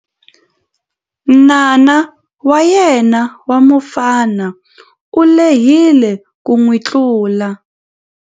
N'wana wa yena wa mufana u lehile ku n'wi tlula.